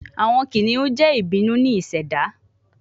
Awọn kiniun jẹ ibinu ni iseda